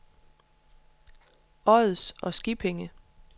Ods og Skippinge